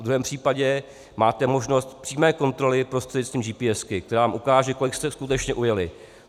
V druhém případě máte možnost přímé kontroly prostřednictvím GPS, která vám ukáže, kolik jste skutečně ujeli.